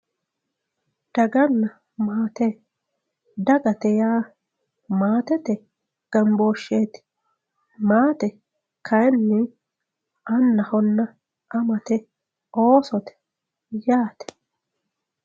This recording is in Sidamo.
Dagana maate, dagate yaa maatete gambosheti maate kayinni annahonna amate oosote yaate.